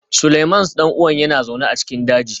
Seleimans ɗan'uwan yana zaune a cikin daji